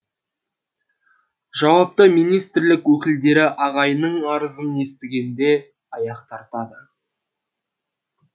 жауапты министрлік өкілдері ағайынның арызын естігенде аяқ тартады